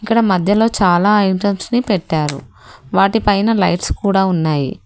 ఇక్కడ మధ్యలో చాలా ఐటమ్స్ ని పెట్టారు వాటిపైన లైట్స్ కూడా ఉన్నాయి.